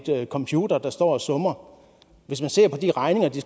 nogle computere der står og summer hvis man ser på de regninger der